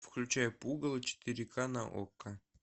включай пугало четыре ка на окко